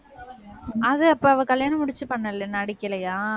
அது அப்ப அவ கல்யாணம் முடிச்சு நடிக்கலையா?